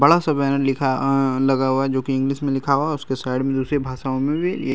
बड़ा सा बैनर लिखा अ लगा हुआ है जो की इंग्लिश में लिखा हुआ हैं। उसके साइड में दुसरे भाषाओं में भी ये --